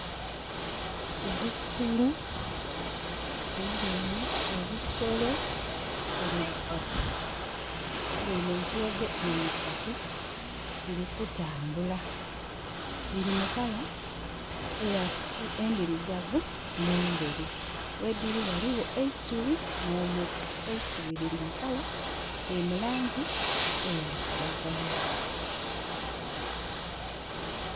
Ebisolo Mbweine ebisolo biri bisatu. Mbweine entulege diri isatu, diri kutambula. Diri mu kala endirugavu nenderu. Wediri waliwo eisubi no muti. Eisubi liri mulangi eya kiragala.